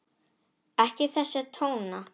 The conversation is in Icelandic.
Ekki þessa tóna!